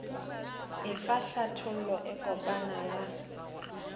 efa hlathollo e kopana ya